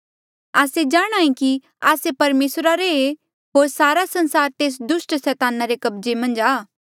आस्से जाणहां ऐें कि आस्से परमेसरा रे ऐें होर सारा संसार तेस दुस्ट सैताना रे कब्जे मन्झ आ